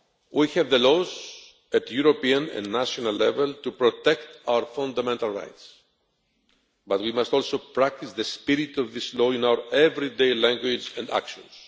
We have the laws at European and national level to protect our fundamental rights, but we must also practice the spirit of this law in our everyday language and actions.